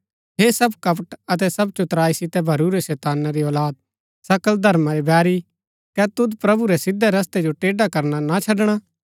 हे सब कपट अतै सब चतुराई सितै भरूरै शैताना री औलाद सकल धर्मा रै बैरी कै तुद प्रभु रै सिधै रस्तै जो टेढ़ा करना ना छड़णा